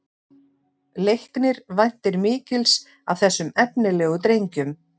Leiknir væntir mikils af þessum efnilegu drengjum